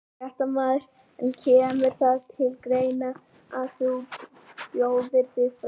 Fréttamaður: En kemur það til greina að þú bjóðir þig fram?